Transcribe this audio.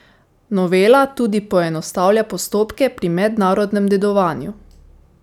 Novela tudi poenostavlja postopke pri mednarodnem dedovanju.